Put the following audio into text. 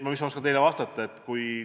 Mis ma oskan teile vastata?